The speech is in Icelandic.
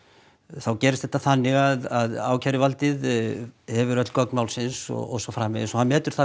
þá gerist þetta þannig að ákæruvaldið hefur öll gögn málsins og svo framvegis og hann metur